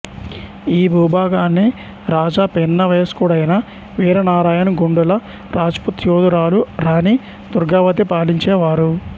ఈ భూభాగాన్ని రాజా పిన్నవయస్కుడైన వీర నారాయణ్ గోండుల రాజ్పుత్ యోధురాలు రాణి దుర్గావతి పాలించే వారు